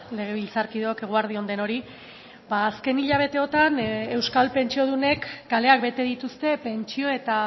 legebiltzarkideok eguerdi on denoi azken hilabeteotan euskal pentsiodunek kaleak bete dituzte pentsio eta